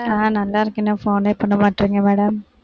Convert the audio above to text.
நான் நல்லா இருக்கேன்டா என்ன phone யே பண்ண மாட்டேங்கறீங்க madam